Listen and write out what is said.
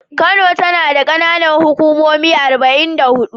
Kano tana da ƙananan hukumomi arba'in da huɗu.